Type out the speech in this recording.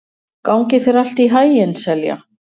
Gangi þér allt í haginn, Selja.